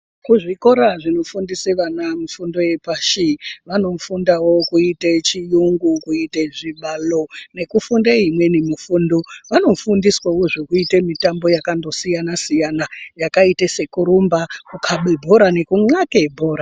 Kuzvikora zvino fundise vana fundo yepashi vano fundawo kuite chiyungu kuite zvibalo nekufunda imweni mifundo vano fundiswa wo zvokuita mutambo yaka ngosiyana siyana yakaita sekurumba nekukaba bhora nekunxaka bhora .